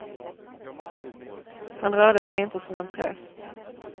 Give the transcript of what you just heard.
Han rörde sig inte som en präst.